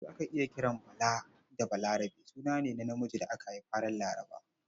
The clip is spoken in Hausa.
Za ka iya kiran Bala da Balarabe suna ne na namiji da aka haifa ranar Laraba.